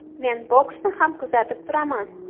Men boksni ham kuzatib turaman.